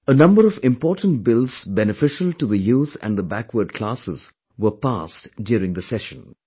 A number of importantbills beneficial to the youth and the backward classes were passed during this session